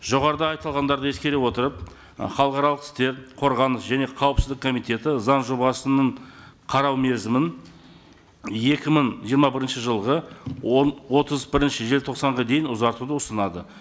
жоғарыда айтылғандарды ескере отырып і халықаралық істер қорғаныс және қауіпсіздік комитеті заң жобасының қарау мерзімін екі мың жиырма бірінші жылғы отыз бірінші желтоқсанға дейін ұзартуды ұсынады